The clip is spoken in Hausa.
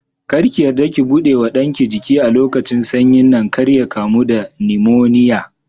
Kar ki yarda ki buɗe wa ɗanki jiki a lokacin sanyin nan kar ya kamu da nimoniya.